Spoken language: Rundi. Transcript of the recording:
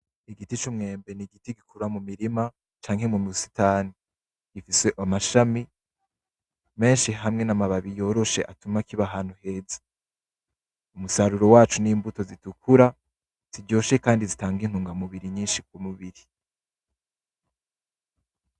Igiti c'umwembe n'igiti gikura mu murima ,canke mu musitani gifise amashami meshi hamwe n'amababi yoroshe ndetse n'amababi atuba kiba ahantu heza umusaruro waco n'imbuto zitukura, ziryoshe kandi zitanga umusaruro mwishi ku mubiri.